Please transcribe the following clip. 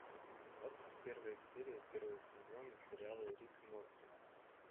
двадцать первая серия первого сезона сериала рик и морти